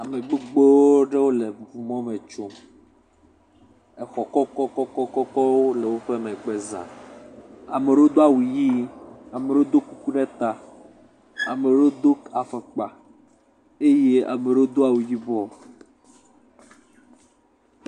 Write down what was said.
Ame gbogbo aɖewo le ŋu mɔ me tsom, exɔ kɔkɔkɔkɔkɔkɔ le woƒe megbe za, ame ɖewo do awu ʋi ame ɖewo do kuku ɖe ta ame ɖewo do afɔkpa eye ame ɖewo awu yibɔ.